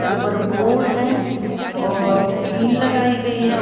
ऊपर बोर्ड है और टीन लगाई गई है उ --